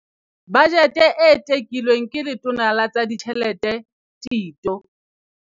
Bajete e tekilweng ke Letona la tsa Ditjhelete Tito